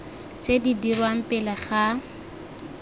tse di dirwang pele ga